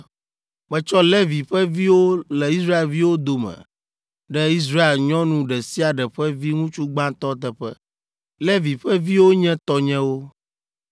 “Metsɔ Levi ƒe viwo le Israelviwo dome ɖe Israel nyɔnu ɖe sia ɖe ƒe viŋutsu gbãtɔ teƒe. Levi ƒe viwo nye tɔnyewo.